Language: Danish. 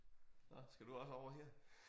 Nåh skal du også over her?